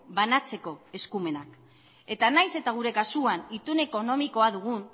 banatzeko eskumenak eta nahiz eta gure kasuan itun ekonomikoa dugun